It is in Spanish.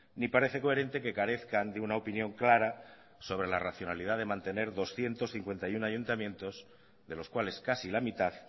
ni parece coherente que carezcan de una opinión clara sobre la racionalidad de mantener doscientos cincuenta y uno ayuntamientos de los cuales casi la mitad